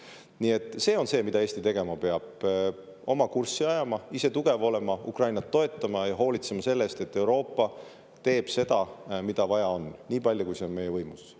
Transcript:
Nii et see on see, mida Eesti tegema peab: oma kurssi ajama, ise tugev olema, Ukrainat toetama ja hoolitsema selle eest, et Euroopa teeb seda, mida vaja on, nii palju, kui see on meie võimuses.